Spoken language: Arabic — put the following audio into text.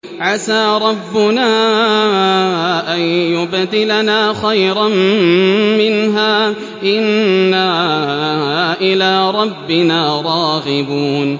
عَسَىٰ رَبُّنَا أَن يُبْدِلَنَا خَيْرًا مِّنْهَا إِنَّا إِلَىٰ رَبِّنَا رَاغِبُونَ